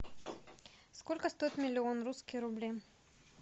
сколько стоит миллион русские рубли